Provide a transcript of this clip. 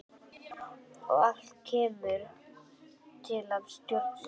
Og allt kemur það til af stjórnleysi.